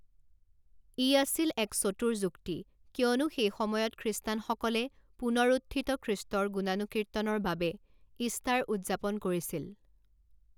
ই আছিল এক চতুৰ যুক্তি, কিয়নো সেই সময়ত খ্ৰীষ্টানসকলে পুনৰুত্থিত খ্ৰীষ্টৰ গুণানুকীৰ্তনৰ বাবে ঈষ্টাৰ উদযাপন কৰিছিল।